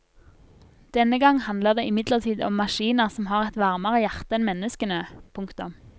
Denne gang handler det imidlertid om maskiner som har et varmere hjerte enn menneskene. punktum